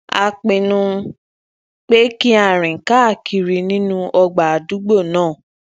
a pinnu pé ki a rìn káàkiri nínú ọgbà adugbo naa